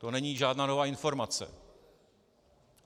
To není žádná nová informace.